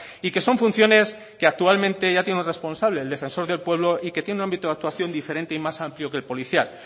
y que son funciones que actualmente ya tienen un responsable el defensor del pueblo y que tiene un ámbito de actuación diferente y más amplio que el policial